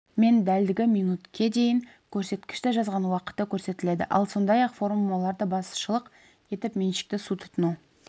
мен дәлдігі минутке дейін көрсеткішті жазған уақыты көрсетіледі ал сондай-ақ формулаларды басшылық етіп меншікті су тұтыну